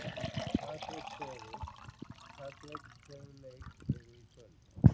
Patrek, hvaða leikir eru í kvöld?